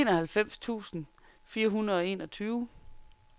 enoghalvfems tusind fire hundrede og enogtyve